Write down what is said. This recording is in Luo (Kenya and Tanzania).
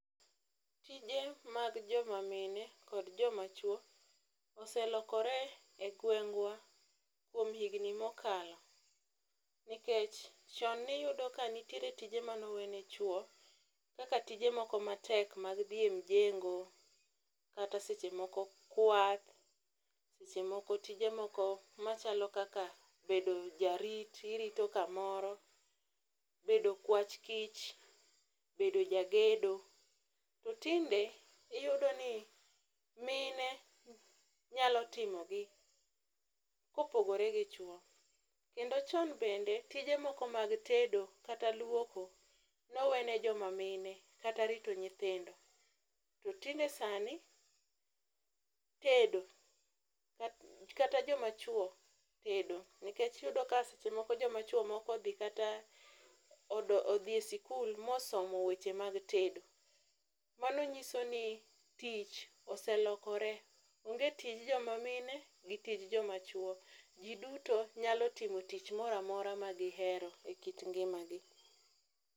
Tije mag jomamine kod jomachwo oselokore e gweng'wa kuom higni mokalo, nikech chon niyudo ka nitiere tije manowene chwo kaka tije moko matek mag dhi e mjengo kata seche moko kwath, seche moko tije moko machalo kaka bedo jarit, irito kamoro, bedo okwach kich, bedo jagedo. To tinde iyudo ni mine nyalo timogi kopogore gi chwo, kendo chon bende, tije moko mag tedo kata luoko nowene joma mine kata rito nyithindo. To tinde sani, tedo, kata jomachwo tedo nikech iyudo ka seche moko jomachwo moko odhi e sikul mosomo weche mag tedo. Mano nyiso ni tich oselokore, onge tij jomamine gi tij jomachwo, ji duto nyalo timo tich moro amora magihero e kit ngimagi.